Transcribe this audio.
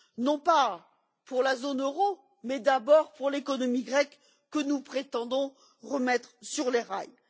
Non pas pour la zone euro mais d'abord pour l'économie grecque que nous prétendons remettre sur les rails.